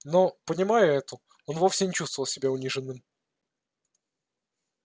но понимая это он вовсе не чувствовал себя униженным